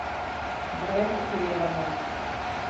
Brez oklevanja.